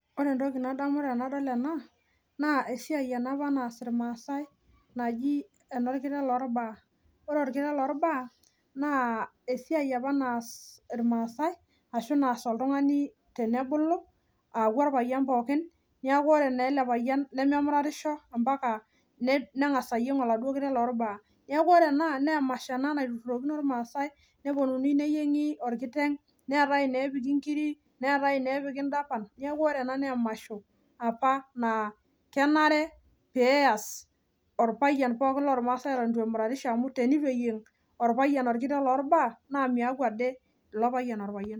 Wore entoki nadamu tenadol ena, naa esiai ena apa nass irmaasae naji enorkiteng loorbaa. Wore orkiteng lorbaa, naa esiai apa naas irmaasae ashu naas oltungani tenebulu aaku orpayian pookin. Neeku wore naa ele payian lememuratisho ambaka nengas ayieng oladuo kiteng lorbaa. Neeku wore ena, naa emasho ena naiturrurokini irmaasae, neponunui neyiengi orkiteng, neetae ineepiki inkirik, neetae ineepiki indapan, neeku wore ena naa emasho apa naa kenare pee eas orpayian pookin lormasae eton itu emuratisho amu tenitu eyieng orpayian orkiteng lorbaa, naa meaku ade ilo payian orpayian.